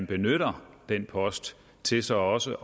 benytter den post til så også